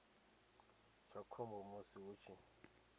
tsha khombo musi hu tshi